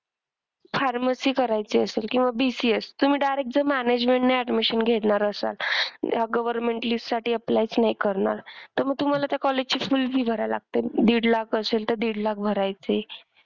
Pharmacy करायची असेल किंवा BCS, तुम्ही direct जर management ने admission घेणार असाल या government list साठी apply च नाही करणार तर मग तुम्हाला त्या college ची full fee भरायला लागते. दीड लाख असेल तर दीड लाख भरायची.